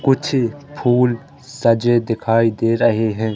कुछ फूल सजे दिखाई दे रहे हैं।